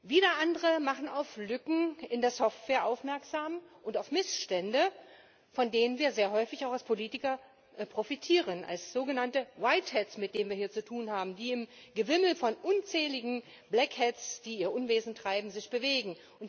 Wieder andere machen auf Lücken in der Software aufmerksam und auf Missstände, von denen wir sehr häufig als Politiker auch profitieren als sogenannte mit denen wir hier zu tun haben, die sich im Gewimmel von unzähligen die ihr Unwesen treiben, bewegen.